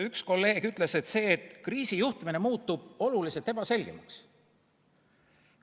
Üks kolleeg ütles, et kriisijuhtimine muutub oluliselt ebaselgemaks.